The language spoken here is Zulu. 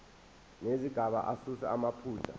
nezigaba asuse amaphutha